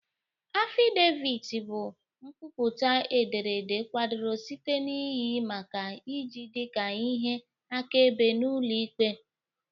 Affidavit bụ nkwupụta ederede kwadoro site na iyi maka iji dị ka ihe akaebe n'ụlọ ikpe.